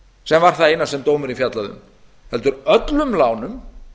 sem var það eina sem dómurinn fjallaði um heldur öllum lánum